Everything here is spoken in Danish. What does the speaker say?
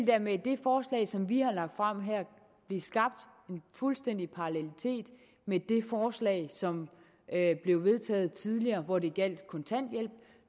der med det forslag som vi har lagt frem her blive skabt en fuldstændig parallelitet med det forslag som blev vedtaget tidligere hvor det gjaldt kontanthjælp og